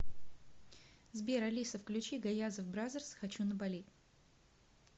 сбер алиса включи гаязов бразерс хочу на бали